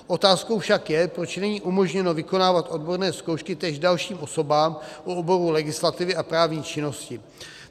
Otázkou však je, proč není umožněno vykonávat odborné zkoušky též dalším osobám u oboru legislativy a právní činnosti.